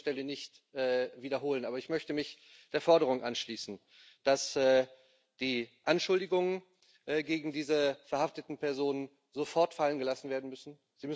Ich will sie an dieser Stelle nicht wiederholen, aber ich möchte mich der Forderung anschließen, dass die Anschuldigungen gegen diese verhafteten Personen sofort fallen gelassen werden müssen.